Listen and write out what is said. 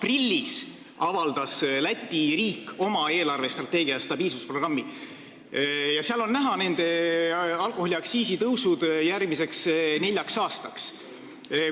Aprillis avaldas Läti riik oma eelarvestrateegia ja stabiilsusprogrammi, kust on näha nende alkoholiaktsiisi tõusud järgmiseks neljaks aastaks.